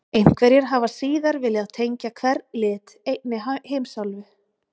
Einhverjir hafa síðar viljað tengja hvern lit einni heimsálfu: